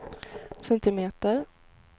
centimeter